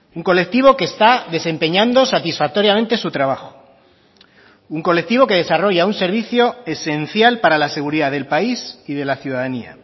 un colectivo que está desempeñando satisfactoriamente su trabajo un colectivo que desarrolla un servicio esencial para la seguridad del país y de la ciudadanía